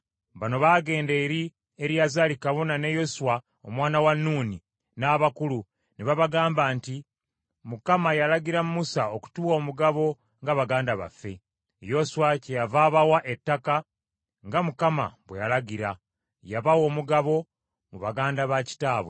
Bano baagenda eri Eriyazaali kabona ne Yoswa omwana wa Nuuni n’abakulu ne babagamba nti, “ Mukama yalagira Musa okutuwa omugabo nga baganda baffe.” Yoswa kyeyava abawa ettaka nga Mukama bwe yalagira. Yabawa omugabo mu baganda bakitaabwe.